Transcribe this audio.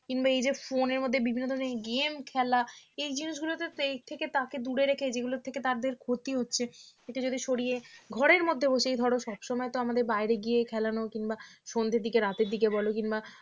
কিংবা এই যে phone এর মধ্যে বিভিন্ন ধরনের game খেলা এই জিনিসগুলোতে ক্ষেত্রে এর থেকে তাকে দূরে রেখে যেগুলো থেকে তাদের ক্ষতি হচ্ছে একটু যদি সরিয়ে ঘরের মধ্যে বসিয়ে ধরো সব সময় তো আমাদের বাইরে গিয়ে খেলানো কিংবা সন্ধ্যের দিকে রাতের দিকে বল কিংবা